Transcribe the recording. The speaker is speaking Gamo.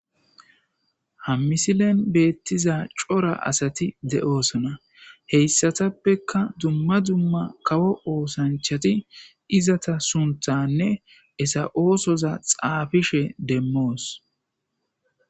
ha misilen beettiza cora asati de7oosona heyssatappeka dumma dumma kawo oosanchati izata sunthanne esa7oosoza xaafishe demmoos